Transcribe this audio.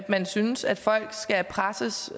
man synes at folk skal presses